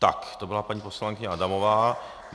Tak to byla paní poslankyně Adamová.